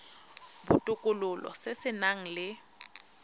botokololo se se nang le